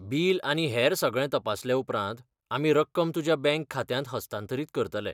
Bill आनी हेर सगळें तपासल्या उपरांत, आमी रक्कम तुमच्या बँक खात्यांत हस्तांतरीत करतले.